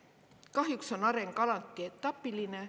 Kahjuks on areng alati etapiline.